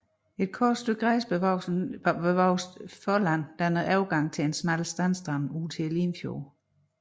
Et kort stykke græsbevokset forland danner overgang til en smal sandstrand ud til Limfjorden